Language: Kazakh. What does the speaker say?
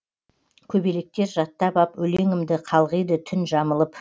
көбелектер жаттап ап өлеңімді қалғиды түн жамылып